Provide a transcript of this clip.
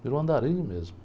Virou andarilho mesmo.